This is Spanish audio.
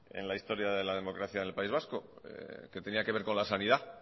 en la historia de la democracia en el país vasco que tenía que ver con la sanidad